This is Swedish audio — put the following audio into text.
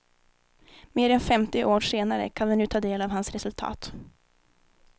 Mer än femtio år senare kan vi nu ta del av hans resultat.